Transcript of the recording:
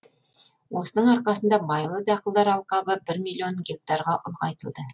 осының арқасында майлы дақылдар алқабы бір миллион гектарға ұлғайтылды